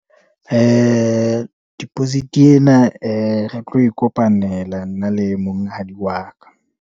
Deposit ena, re tlo e kopanela. Nna le monghadi wa ka.